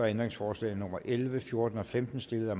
ændringsforslagene nummer elleve fjorten og femten stillet af